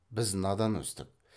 біз надан өстік